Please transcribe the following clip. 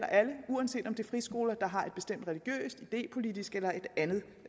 alle uanset om det er friskoler der har et bestemt religiøst idépolitisk eller et andet